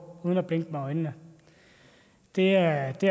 uden at blinke med øjnene det er det